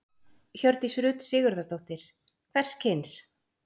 Hjördís Rut Sigurðardóttir: Hvers kyns?